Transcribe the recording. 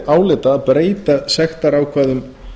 álita að breyta sektarákvæðum